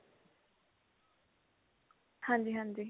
ਹਾਂਜੀ ਹਾਂਜੀ